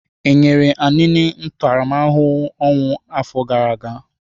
E nyere Anini ntaramahụhụ ọnwụ afọ gara aga?